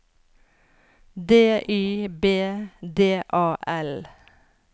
D Y B D A L